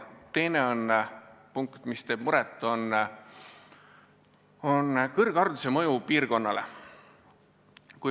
Teine teema, mis teeb muret, on kõrghariduse mõju piirkonnale.